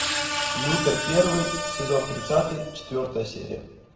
лютер первый сезон тридцатый четвертая серия